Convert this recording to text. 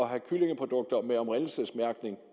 have kyllingeprodukter med oprindelsesmærkning